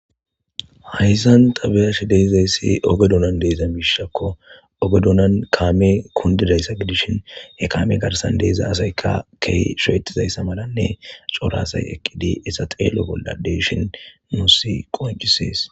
hayszan tabiyashi deyzayssi ogedunan deeza miishakko ogedunan kaame kundidayssa gidishin he kaame garsan deeza asayka key sheetizayssa malanne corasay eqqidi issa xeelo bolla deeshin musi qoncisees